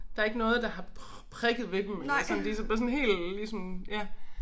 Der ikke noget der har prikket ved dem eller sådan de så bare sådan helt ligesom ja